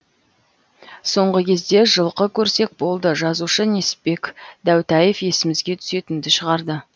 соңғы кезде жылқы көрсек болды жазушы несіпбек дәутаев есімізге түсетінді шығарды